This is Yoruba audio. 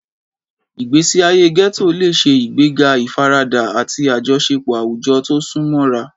Ìgbésí ayé ghetto lè ṣe ìgbéga ìfaradà àti àjọṣepọ̀ àwùjọ tó sún mọ́ra.